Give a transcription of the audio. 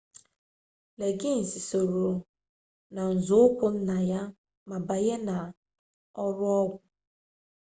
liggins soro n'uzoụkwụ nna ya ma banye n'ọrụ ọgwụ